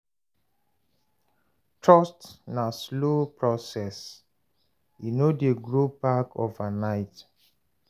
Trust na slow process, e no dey grow back overnight.